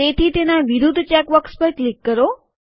તેથી તેના વિરુદ્ધ ચેક બોક્સ પર ક્લિક કરો